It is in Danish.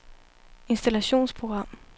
installationsprogram